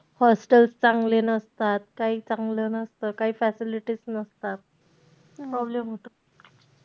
Hostels चांगले नसतात, काही चांगलं नसतं. काही facilities नसतात. problem होतो.